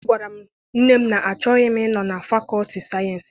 Agwara m nne m na-achọghị m I nọ na fakọlti sayensị.